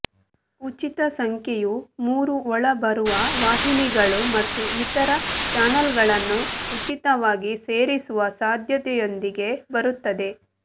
ಉಚಿತ ಸಂಖ್ಯೆಯು ಮೂರು ಒಳಬರುವ ವಾಹಿನಿಗಳು ಮತ್ತು ಇತರ ಚಾನಲ್ಗಳನ್ನು ಉಚಿತವಾಗಿ ಸೇರಿಸುವ ಸಾಧ್ಯತೆಯೊಂದಿಗೆ ಬರುತ್ತದೆ